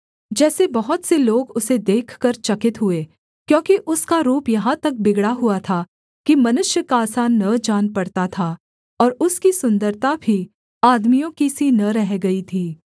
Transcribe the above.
जैसे बहुत से लोग उसे देखकर चकित हुए क्योंकि उसका रूप यहाँ तक बिगड़ा हुआ था कि मनुष्य का सा न जान पड़ता था और उसकी सुन्दरता भी आदमियों की सी न रह गई थी